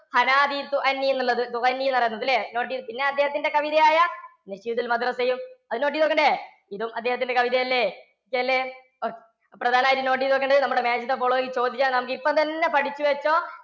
എന്നു എന്നാണ് പറയുന്നത് note ചെയ്യണം. പിന്നെ അദ്ദേഹത്തിന്റെ കവിതയായ യും അത് note ചെയ്തു വയ്ക്കേണ്ട? ഇതും അദ്ദേഹത്തിന്റെ കവിത അല്ലേ? കവിതയല്ലേ? okay. പ്രധാനമായി note ചെയ്ത് വയ്ക്കേണ്ടത് നമ്മുടെ match the following ൽ ചോദിച്ചാൽ ആണ് നമുക്ക് ഇപ്പം തന്നെ പഠിച്ചു വെച്ചോ